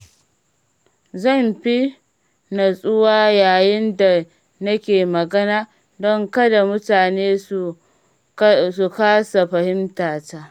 Zan fi natsuwa yayin da nake magana don kada mutane su kasa fahimtata.